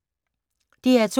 DR2